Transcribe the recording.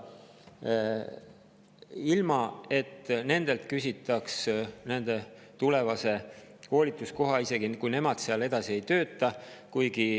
ilma et nendelt küsitaks tulevase koolituskoha kohta, isegi kui nad seal enam edasi ei tööta.